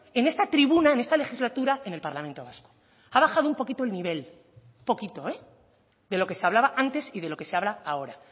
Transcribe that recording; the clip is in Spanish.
en esta tribuna en esta legislatura en el parlamento vasco ha bajado un poquito el nivel un poquito de lo que se hablaba antes y de los que se habla ahora